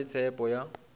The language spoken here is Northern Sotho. re na le tshepho ya